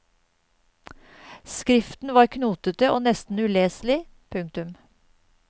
Skriften var knotete og nesten uleselig. punktum